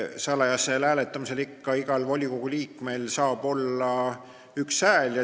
Salajasel hääletamisel saab ikka igal volikogu liikmel olla üks hääl.